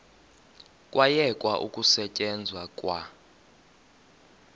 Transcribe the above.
kwayekwa ukusetyenzwa kwa